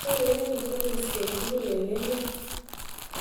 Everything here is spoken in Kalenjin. kiaureren teniis kenyu tukul eng emet